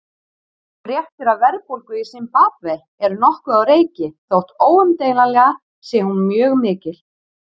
Fréttir af verðbólgu í Simbabve eru nokkuð á reiki þótt óumdeilanlega sé hún mjög mikil.